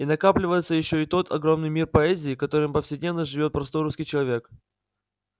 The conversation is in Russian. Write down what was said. и накапливается ещё и тот огромный мир поэзии которым повседневно живёт простой русский человек